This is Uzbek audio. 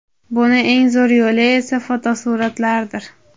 Buni eng zo‘r yo‘li esa - fotosur’atlardir.